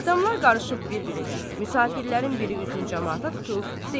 Adamlar qarışıb bir-birinə, müsafirlərin biri üzünü camaata tutub, deyir.